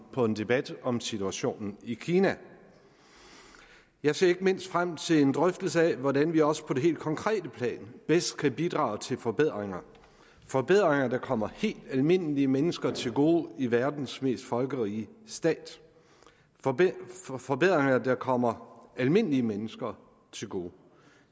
på en debat om situationen i kina jeg ser ikke mindst frem til en drøftelse af hvordan vi også på det helt konkrete plan bedst kan bidrage til forbedringer forbedringer der kommer helt almindelige mennesker til gode i verdens mest folkerige stat forbedringer der kommer almindelige mennesker til gode